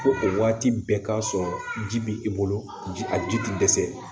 Ko o waati bɛɛ k'a sɔrɔ ji bɛ i bolo ji a ji tɛ dɛsɛ